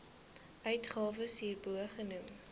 uitgawes hierbo genoem